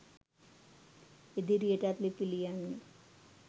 ඉදිරියටත් ලිපි ලියන්න